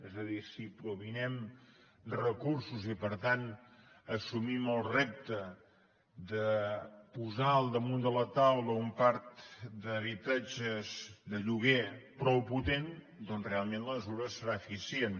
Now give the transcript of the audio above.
és a dir si proveïm recursos i per tant assumim el repte de posar al damunt de la taula un parc d’habitatges de lloguer prou potent doncs realment la mesura serà eficient